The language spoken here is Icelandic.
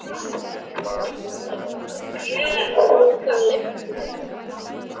Var hún honum eftirlát í hvívetna.